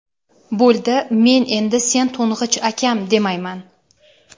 Bo‘ldi — men endi sen to‘ng‘ich akam, demayman.